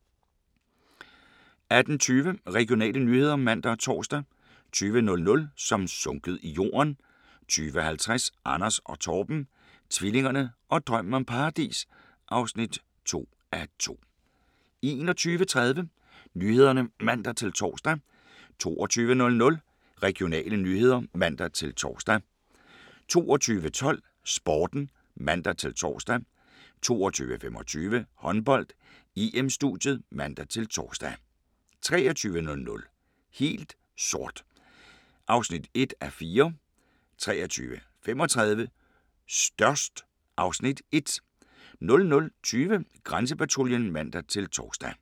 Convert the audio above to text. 18:20: Regionale nyheder (man og tor) 20:00: Som sunket i jorden 20:50: Anders og Torben - tvillingerne og drømmen om paradis (2:2) 21:30: Nyhederne (man-tor) 22:00: Regionale nyheder (man-tor) 22:12: Sporten (man-tor) 22:25: Håndbold: EM - studiet (man-tor) 23:00: Helt sort (1:4) 23:35: Størst (Afs. 1) 00:20: Grænsepatruljen (man-tor)